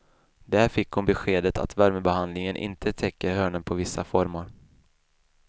Där fick hon beskedet att värmebehandlingen inte täcker hörnen på vissa formar.